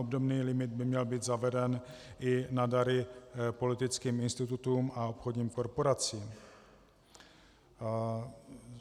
Obdobný limit by měl být zaveden i na dary politickým institutům a obchodním korporacím.